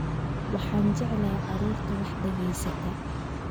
Waxaan jeclahay carruurta wax dhegaysata